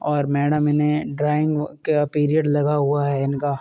और मैंडम इन्हे ड्राइंग व का पीरियड लगा हुआ है इनका।